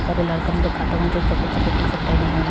बहुत सारे लइकन दिखात उजर-उजर सफ़ेद-सफ़ेद टी-शर्ट पहने हवन।